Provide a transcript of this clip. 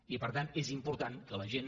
i per tant és important que la gent